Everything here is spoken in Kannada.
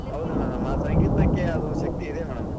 ಹೌದು madam ಆ ಸಂಗೀತಕ್ಕೆ ಅದೊಂದ್ ಶಕ್ತಿ ಇದೆ madam .